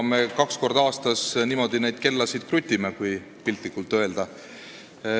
Kaks korda aastas me niimoodi neid kellasid krutime, kui piltlikult öelda.